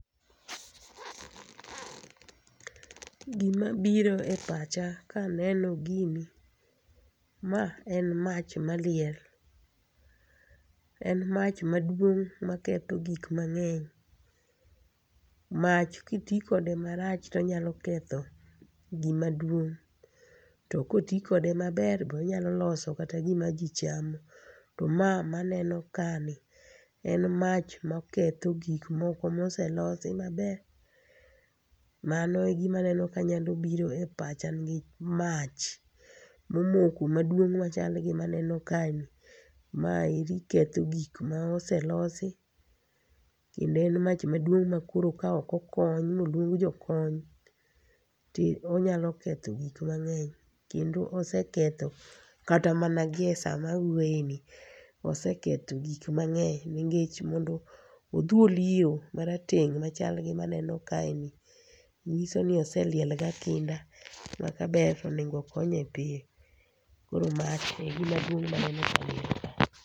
Gima biro e pacha ka aneno gini, ma en mach maliel. En mach maduong' ma ketho gik mang'eny. Mach kiti kode marach to nyalo ketho gi maduong', to koti kode maber, be onyalo loso kata gima jichamo, to ma maneno ka ni en mach ma ketho gik moko moselosi maber, ma no e gima aneno kanyalo biro e pacha mach, momoko maduong' machal gi maneno ka ni. Ma eri ketho gik ma oselosi, kendo en mach maduong' ma koro ka ok okony ma oluong jokony, ti onyalo ketho gik mang'eny. Kendo oseketho, kata mana gi e sa ma awuoyoeni, oseketho gik mang'eny. Nikech mondo odhuli yiro marateng' machal gi ma aneno kae ni, ng'iso ni oseliel ga kinda. Ma kaber to onego okonye piyo. Koro mach e gima dwong' ma aneno.